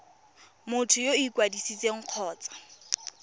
motho yo o ikwadisitseng kgotsa